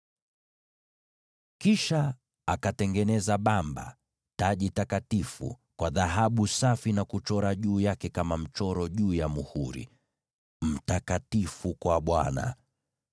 Kisha akatengeneza lile bamba, taji takatifu, kwa dhahabu safi na kuchora juu yake maneno haya kama vile muhuri huchorwa: Mtakatifu kwa Bwana .